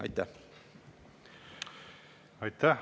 Aitäh!